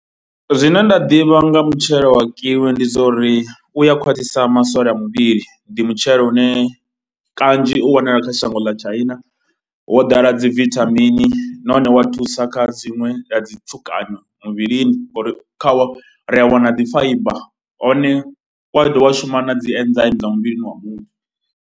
Zwine nda ḓivha nga mutshelo wa Kiwi ndi zwa uri u ya khwaṱhisa masole a muvhili, ndi mutshelo une kanzhi u wanala kha shango ḽa China. Wo ḓala dzi vithamini nahone wa thusa kha dziṅwe dza dzi tsukanyo muvhilini ngauri khawo ri ya wana dzi fiber hone u a dovha wa shuma na dzi dza muvhilini wa muthu.